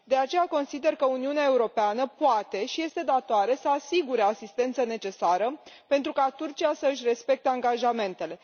De aceea, consider că Uniunea Europeană poate și este datoare să asigure asistență necesară pentru ca Turcia să își respecte angajamentele.